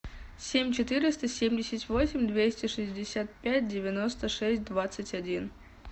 семь четыреста семьдесят восемь двести шестьдесят пять девяносто шесть двадцать один